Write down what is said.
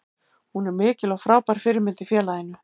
Hún er mikil og frábær fyrirmynd í félaginu.